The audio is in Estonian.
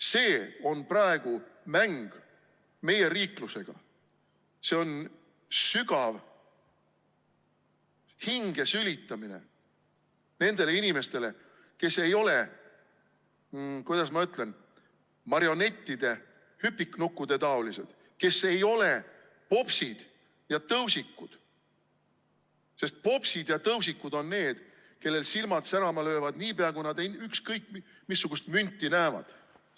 See on praegu mäng meie riiklusega, sügav hinge sülitamine nendele inimestele, kes ei ole, kuidas ma ütlen, marionettide, hüpiknukkude taolised, kes ei ole popsid ja tõusikud, sest popsid ja tõusikud on need, kellel silmad särama löövad, niipea kui nad ükskõik missugust münti näevad.